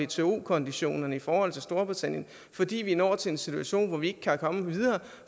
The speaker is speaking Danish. til wto konditionerne i forhold til storbritannien fordi vi når til en situation hvor vi ikke kan komme videre